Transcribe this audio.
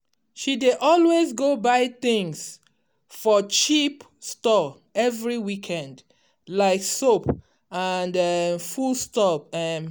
she dey always go buy things for cheap store every weekend like soap and um foodstuff. um